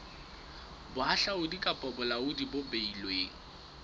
bohahlaudi kapa bolaodi bo beilweng